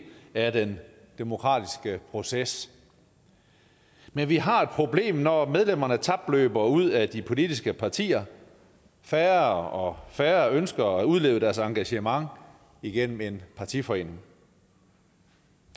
af den demokratiske proces men vi har et problem når medlemmerne tapløber ud af de politiske partier færre og færre ønsker at udleve deres engagement igennem en partiforening